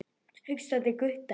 Hugsar til Gutta.